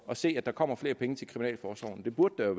at se at der kommer flere penge til kriminalforsorgen det burde der